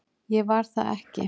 Ég var það ekki